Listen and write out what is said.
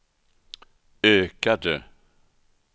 ökade